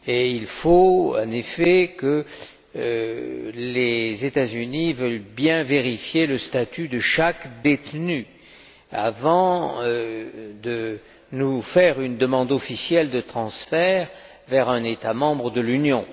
Il faut, en effet, que les États Unis veuillent bien vérifier le statut de chaque détenu avant de nous faire une demande officielle de transfert vers un État membre de l'Union.